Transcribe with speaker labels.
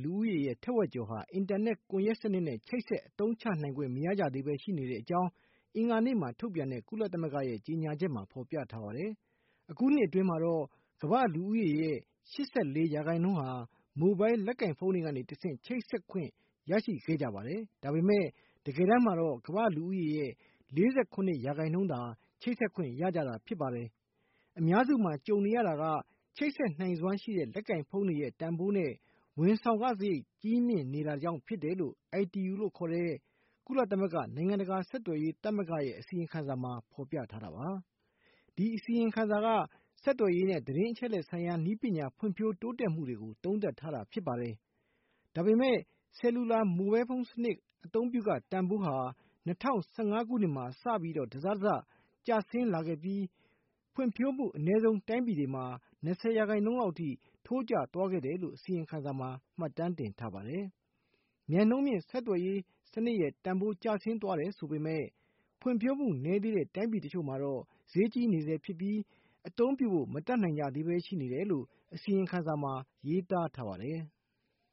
Speaker 1: လူဦးရေ ထက်ဝက်ကျော်ဟာ အင်တာနက် ကွန်ယက်စနစ်နဲ့ ချိတ်ဆက် အသုံးချနိုင်ခွင့် မရကြသေးပဲရှိနေတဲ့အကြောင်း အင်္ဂါနေ့မှာ ထုတ်ပြန်တဲ့ ကုလသမဂ္ဂရဲ့ အစီရင်ခံစာမှာ ဖော်ပြထားပါတယ်။ အခုနှစ်အတွင်းမှာတော့ ကမ္ဘာ့လူဦးရေရဲ့ ၈၄% ဟာ မိုဘိုင်း လက်ကိုင်ဖုန်းတွေကနေတဆင့် ချိတ်ဆက်နိုင်ခွင့် ရရှိခဲ့ကြပါတယ်။ ဒါပေမဲ့ တကယ်တမ်းမှာတော့ ကမ္ဘာ့ လူဦးရေရဲ့ ၄၇% သာ အင်တာနက် ချိတ်ဆက်ခွင့်ရကြတာဖြစ်ပါတယ်။ အများစုမှာ ကြုံနေကြရတာကတော့ ချိတ်ဆက်နိုင်စွမ်းရှိတဲ့ လက်ကိုင်ဖုန်းတွေရဲ့ တန်ဖိုးနဲ့ ဝန်ဆောင်ခ စားရိတ် ဈေးနှုန်း ကြီးမြင့်နေတာကြောင့် ဖြစ်တယ်လို့ ITU လို့ ခေါ်တဲ့ ကုလသမဂ္ဂ နိုင်ငံတကာ ဆက်သွယ်ရေး သမဂ္ဂရဲ့ အစီရင်ခံစာမှာ ဖော်ပြထားပါတယ်။ ဒီအစီရင်ခံစာက ဆက်သွယ်ရေးနဲ့ သတင်းအချက်လက်ဆိုင်ရာ နည်းပညာ ဖွံ့ဖြိုးတိုးတက်မှုတွေကို သုံးသပ်ထားတာပါ။ ဒါပေမဲ့ ဆယ်လူလာ မိုဘိုင်းစနစ် အသုံးပြုခ တန်ဖိုးဟာ ၂၀၁၅ ခုနှစ်က စပြီး တစထက်တစ ကျဆင်းလာခဲ့ပြီး၊ ဖွံ့ဖြိုးမှု အနည်းဆုံး တိုင်းပြည်တွေမှာ ၂၀% လောက်အထိ ထိုးကျသွားခဲ့တယ်လို့ အစီရင်ခံစာ က မှတ်တမ်းတင်ထားပါတယ်။ မြန်နှုန်းမြင့် ဆက်သွယ်ရေးစနစ် တန်ဖိုးကျဆင်းသွားတယ်ဆိုပေမဲ့ ဖွံ့ဖြိုးမှုနည်းသေးတဲ့ တိုင်းပြည်တချို့မှာတော့ ဈေးကြီး နေဆဲရှိပြီး၊ အသုံးပြုဖို့ မတတ်နိုင်ကြသေးပဲ ရှိနေတယ်လို့ အစီရင်ခံစာမှာ ရေးသားထားပါတယ်။